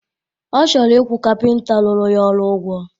Ọ chọrọ ịkwụ kapịnta rụrụ ya ọrụ ụgwọ